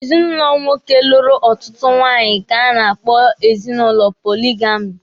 Ezinụlọ nwoke lụrụ ọtụtụ nwunye ka a na-akpọ ezinụlọ poligami.